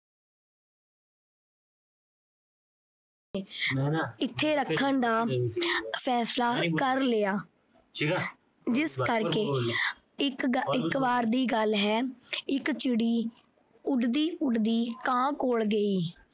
ਇੱਥੇ ਰੱਖਣ ਦਾ ਫੈਸਲਾ ਕਰ ਲਿਆ ਜਿਸ ਕਰਕੇ ਇੱਕ ਵਾਰ ਦੀ ਗੱਲ ਏ ਇੱਕ ਚਿੜੀ ਉਡਦੀ ਉਡਦੀ ਕਾਂ ਕੋਲ ਗਈ।